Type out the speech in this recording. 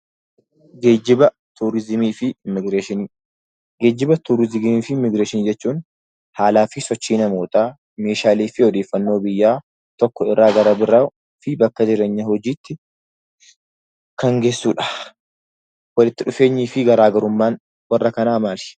Geejjiba, Turiizimii fi Immigireeshinii Geejjiba, Turiizimii fi Immigireeshinii jechuun haalaa fi sochii namootaa, meeshaalee fi odeeffannoo biyyaa tokko irraa gara biroo fi bakka jireenyaa, hojiitti kan geessu dha. Walitti dhufeenyii fi garaa garummaan warra kanaa maali?